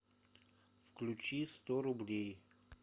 включи сто рублей